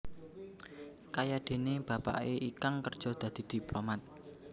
Kayadéné bapaké Ikang kerja dadi diplomat